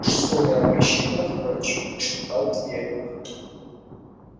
жестокое обращение с горечью прошептал твер